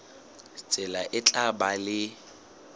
tsela e tla ba le